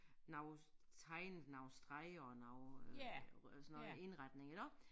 Noget tegnet nogle streger og noget øh sådan noget indretning iggå